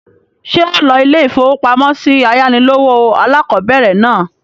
Ṣé ọ lo ilé-ìfowópamọ́sí ayánilówó alákọ̀bẹ̀rẹ̀ náà?